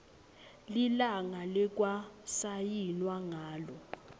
lilanga lekwasayinwa ngalo